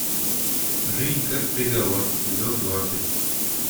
жизнь как приговор эпизод двадцать